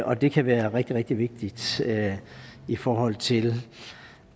og det kan være rigtig rigtig vigtigt i forhold til